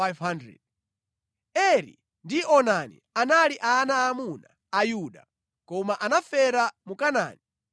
Eri ndi Onani anali ana aamuna a Yuda, koma anafera mu Kanaani.